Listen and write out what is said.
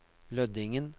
Lødingen